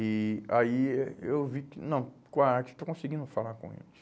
E aí eh eu vi que, não, com a arte, estou conseguindo falar com eles.